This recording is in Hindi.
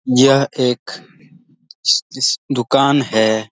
यह एक दुकान है।